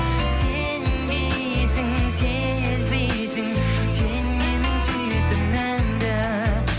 сенбейсің сезбейсің сен менің сүйетінімді